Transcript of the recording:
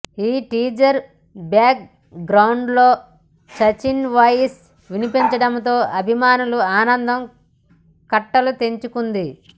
ఈ teaser background లో Sachin voice వినిపించడంతో అభిమానుల ఆనందం కట్టలు తెచ్చుకుంది